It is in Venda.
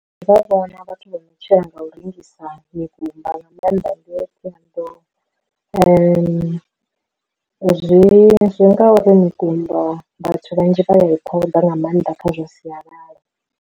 Ndi vhona vhathu vho no tshila nga u rengisa mikumba nga maanḓa ndi thohoyandou, zwi zwi ngauri mikumba vhathu vhanzhi vha ye khoḓa nga maanḓa kha zwa sialala.